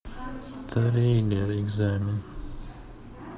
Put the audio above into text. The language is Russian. триллер экзамен